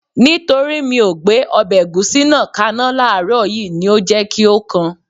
Nítorí mi ò gbé ọbẹ̀ ẹ̀gúsí náà kaná láàrọ̀ yìí ni ó jẹ́ kí ó kan